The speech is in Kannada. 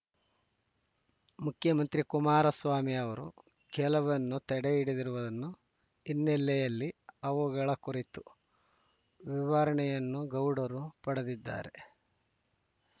ಮುಖ್ಯಮಂತ್ರಿ ಕುಮಾರಸ್ವಾಮಿ ಅವರು ಕೆಲವನ್ನು ತಡೆಹಿಡಿದಿರುವನು ಹಿನ್ನೆಲೆಯಲ್ಲಿ ಅವುಗಳ ಕುರಿತು ವಿವರಣೆಯನ್ನು ಗೌಡರು ಪಡೆದಿದ್ದಾರೆ